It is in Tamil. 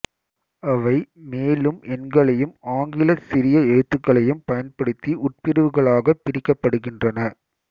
அவை மேலும் எண்களையும் ஆங்கிலச் சிறிய எழுத்துகளையும் பயன்படுத்தி உட்பிரிவுகளாகப் பிரிக்கப்படுகின்றன